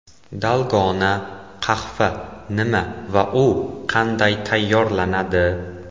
Dalgona qahva nima va u qanday tayyorlanadi?.